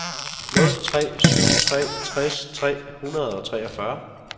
nul tre syv tre tres tre hundrede og treogfyrre